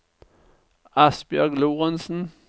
Asbjørg Lorentsen